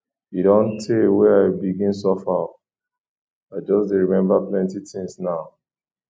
e don tee wey i begin suffer o i just dey remember plenty tins now